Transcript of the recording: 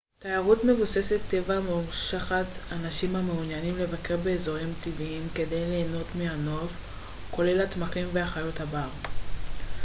תיירות מבוססת-טבע מושכת אנשים המעוניינים לבקר באזורים טבעיים כדי ליהנות מהנוף כולל הצמחים וחיות הבר